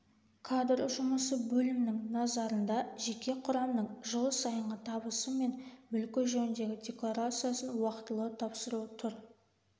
кадр жұмысы бөлімінің назарында жеке құрамның жыл сайынғы табысы мен мүлкі жөніндегі декларациясын уақытылы тапсыру тұр